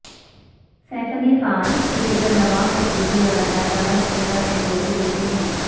safe Ali Khan cricketer Nawab Pataudi اور اداکارہ شرمیلا ٹیگور کے بیٹے ہیں